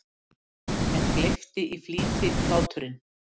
En gleypti í flýti hláturinn.